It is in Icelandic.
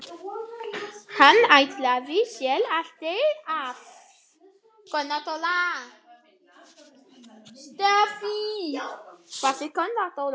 Hann ætlaði sér aldrei af.